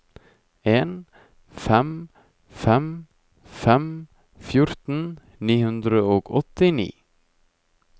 en fem fem fem fjorten ni hundre og åttini